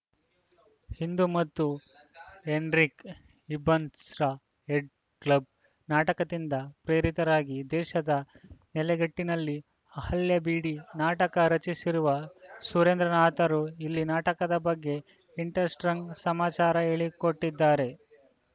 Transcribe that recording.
ಇಂದು ಮತ್ತು ಹೆನ್ರಿಕ್‌ ಇಬ್ಸನ್‌ರ Hedda Gabler ನಾಟಕದಿಂದ ಪ್ರೇರಿತರಾಗಿ ದೇಶಿಯ ನೆಲೆಗಟ್ಟಿನಲ್ಲಿ ಅಹಲ್ಯಾ ಬಿಡಿ ನಾಟಕ ರಚಿಸಿರುವ ಸುರೇಂದ್ರನಾಥರು ಇಲ್ಲಿ ನಾಟಕದ ಬಗ್ಗೆ ಇಂಟರೆಸ್ಟಂಗ್‌ ಸಮಾಚಾರ ಹೇಳಿಕೋಟಿದ್ದಾರೆ